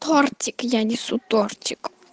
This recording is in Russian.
тортик я несу тортик